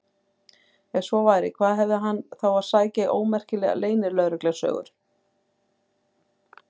Ef svo væri, hvað hafði hann þá að sækja í ómerkilegar leynilögreglusögur?